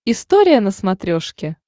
история на смотрешке